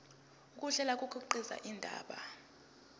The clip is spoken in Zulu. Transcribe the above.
ukuhlela kukhiqiza indaba